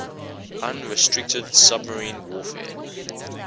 unrestricted submarine warfare